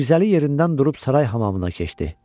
Mirzəli yerindən durub saray hamamına keçdi.